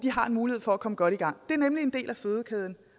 har en mulighed for at komme godt i gang det er nemlig en del af fødekæden